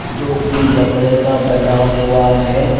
जोकि लकड़े का बना हुआ है।